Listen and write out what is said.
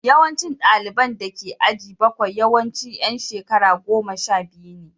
Yawancin ɗaliban da ke aji bakwai yawanci ’yan shekara goma sha biyu ne